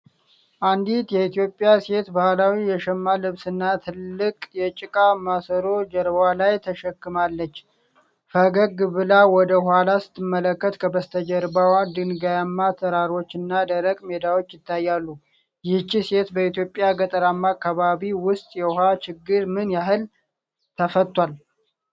አንዲት የኢትዮጵያ ሴት ባህላዊ የሸማ ልብስና ትልቅ የጭቃ ማሰሮ ጀርባዋ ላይ ተሸክማለች። ፈገግ ብላ ወደ ኋላ ስትመለከት ከበስተጀርባዋ ድንጋያማ ተራሮችና ደረቅ ሜዳዎች ይታያሉ። ይህች ሴት በኢትዮጵያ ገጠራማ አካባቢዎች ውስጥ የውኃ ችግር ምን ያህል ተፈቷል?